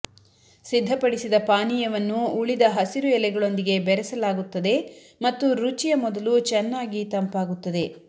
ಸಿದ್ಧಪಡಿಸಿದ ಪಾನೀಯವನ್ನು ಉಳಿದ ಹಸಿರು ಎಲೆಗಳೊಂದಿಗೆ ಬೆರೆಸಲಾಗುತ್ತದೆ ಮತ್ತು ರುಚಿಯ ಮೊದಲು ಚೆನ್ನಾಗಿ ತಂಪಾಗುತ್ತದೆ